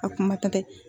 A kuma tɔ tɛ